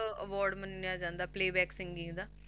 ਅਹ award ਮੰਨਿਆ ਜਾਂਦਾ playback singing ਦਾ